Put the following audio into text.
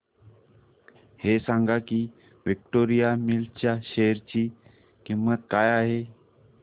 हे सांगा की विक्टोरिया मिल्स च्या शेअर ची किंमत काय आहे